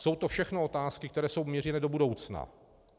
Jsou to všechno otázky, které jsou mířeny do budoucna.